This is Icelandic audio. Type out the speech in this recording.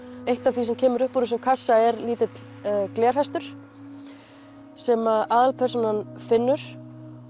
eitt af því sem kemur upp úr þessum kassa er litill glerhestur sem aðalpersónan finnur